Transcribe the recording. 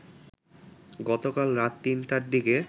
গতকাল রাত ৩টার দিকে